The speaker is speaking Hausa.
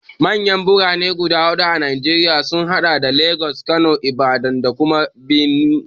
Manyan Birane guda huɗu a Najeriya sun haɗa da Legas, Kano, Ibadan da kuma Benin.